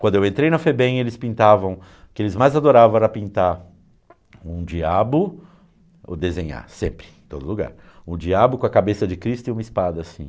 Quando eu entrei na Febem, eles pintavam, o que eles mais adoravam era pintar um diabo, ou desenhar, sempre, em todo lugar, um diabo com a cabeça de Cristo e uma espada, assim.